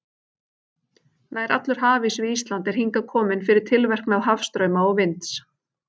Nær allur hafís við Ísland er hingað kominn fyrir tilverknað hafstrauma og vinds.